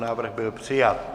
Návrh byl přijat.